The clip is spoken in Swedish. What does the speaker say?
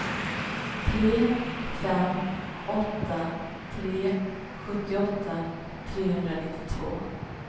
tre fem åtta tre sjuttioåtta trehundranittiotvå